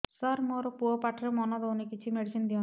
ସାର ମୋର ପୁଅ ପାଠରେ ମନ ଦଉନି କିଛି ମେଡିସିନ ଦିଅନ୍ତୁ